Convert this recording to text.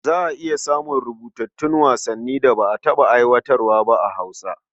Za a iya samun rubutattun wasannin da ba a taɓa aiwatarwa a Hausa ba.